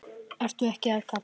Ertu ekki að kafna?